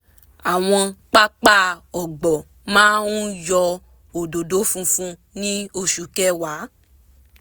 àwọn pápá ọ̀gbọ̀ máa ń yọ òdòdó funfun ní oṣù kẹwa